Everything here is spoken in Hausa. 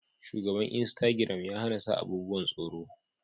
Shugaban insitagiram ya hana sa abubuwan tsoro